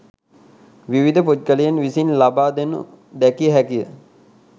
විවිධ පුද්ගලයින් විසින් ලබා දෙනු දැකිය හැකිය.